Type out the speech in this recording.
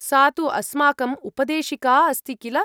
सा तु अस्माकम् उपदेशिका अस्ति किल।